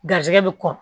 Garisigɛ bi kɔkɔ